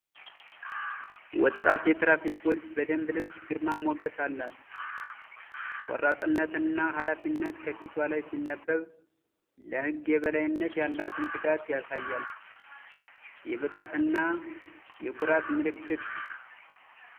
ወጣት የትራፊክ ፖሊስ በደንብ ልብሷ ግርማ ሞገስ አላት! ቆራጥነትና ኃላፊነት ከፊቷ ላይ ሲነበብ፣ ለህግ የበላይነት ያላትን ትጋት ያሳያል። የብቃትና የኩራት ምልክት!